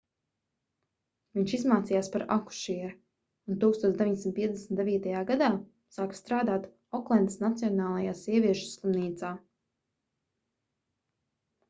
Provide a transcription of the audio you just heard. viņš izmācījās par akušieri un 1959. gadā sāka strādāt oklendas nacionālajā sieviešu slimnīcā